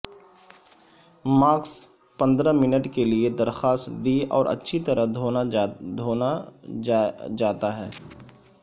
mask پندرہ minute کے لئے درخواست دی اور اچھی طرح دھونا جاتا ہے